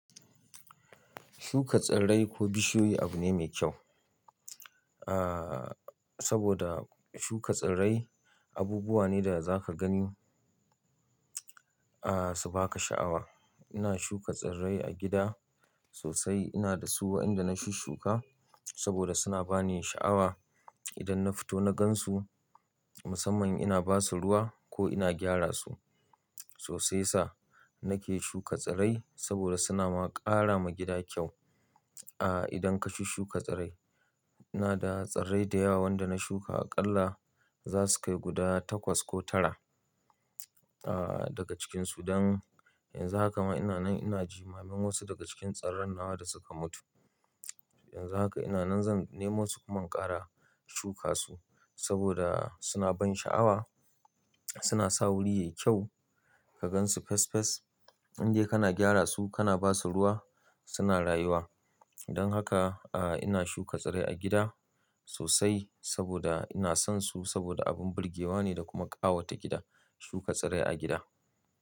Shuka tsirrai ko bishiyu abu ne mai kyau. Saboda shuka tsirrai abubuwa ne da zaka gani su baka sha'awa. Ina shuka tsirrai a gida sosai, ina da su waɗanda na shushuka saboda suna bani sha'awa. Idan na fito na gan su, musamman ina basu ruwa ko ina gyara su. Sosai sa nake shuka tsirrai saboda suna ma ƙara ma gida kyau idan ka shushuka tsirrai. Na da tsirrai da yawa wanda na shuka aƙalla za su kai guda takwas ko tara daga cikin su dan yanzu haka ma ina nan ina jimamin wasu daga cikin tsirran nawa da suka mutu. Yanzu haka ina nan zan nemo su kuma ƙara shuka su saboda suna ban sha'awa, suna sa wuri yayi kyau ka gan su fes fes. Indai kana gyara su, kana basu ruwa suna rayuwa. Don haka ina shuka tsirrai a gida sosai saboda ina son su saboda abun birgewa ne da kuma ƙawata gida shuka tsirrai a gida.